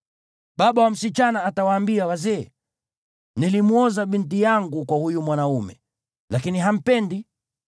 Baba wa msichana atawaambia wazee, “Nilimwoza binti yangu kwa huyu mwanaume, lakini hampendi.